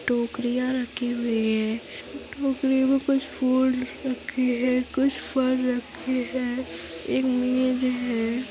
टोकरियाँ रखी हुई है। टोकरियों में कुछ फूल रखें हैं कुछ फल रखें हैं एक मेज है।